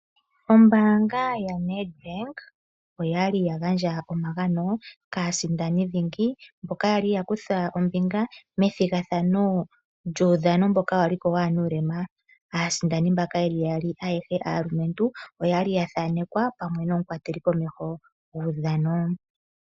Ombaanga ya NedBank oya li ya gandja omagano kaasindani dhingi, mboka ya li yakutha 'ombinga methigathano lyuudhano, mboka wa li ko waanuulema. Aasindani mbaka ye li yaali, ayehe aalumentu ,oya li ya thaanekwa pamwe nomukwateli komeho guudhano.